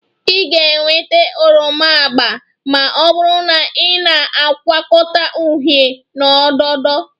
Ị ga-enweta oroma agba ma ọ bụrụ na ị na-agwọkọta uhie na odo odo